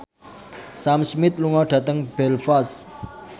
Sam Smith lunga dhateng Belfast